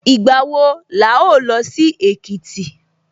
Ìgbà wo la ó lọ sí Èkìtì?